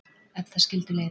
Eftir það skildu leiðir